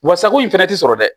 Wa sago in fɛnɛ ti sɔrɔ dɛ